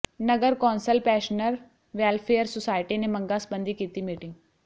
ਨਗਰ council pensioner welfare society ਨੇ ਮੰਗਾਂ ਸਬੰਧੀ ਕੀਤੀ ਮੀਟਿੰਗ